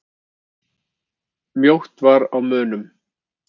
Mjótt var á munum.